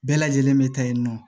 Bɛɛ lajɛlen bɛ taa yen nɔ